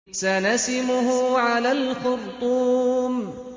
سَنَسِمُهُ عَلَى الْخُرْطُومِ